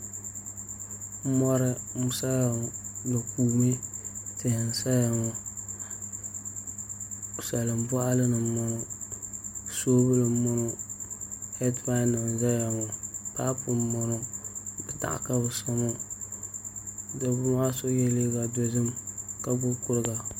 Mori n saya ŋo di kuumi tihi n saya ŋo salin boɣali ni n boŋo soobuli n boŋo heed pai nim n ʒɛya ŋo paapu n boŋo titaɣa ka bi so maa dabba maa so yɛla liiga dozim ka gbubi kuriga